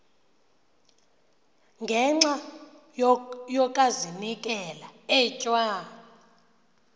ngenxa yokazinikela etywa